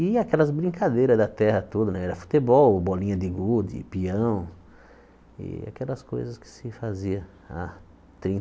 E aquelas brincadeiras da terra toda né, era futebol, bolinha de gude, pião e aquelas coisas que se fazia há